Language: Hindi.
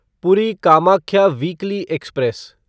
पूरी कामाख्या वीकली एक्सप्रेस